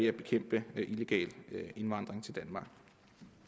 at bekæmpe illegal indvandring til danmark